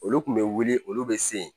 Olu kun bɛ wuli olu bɛ se yen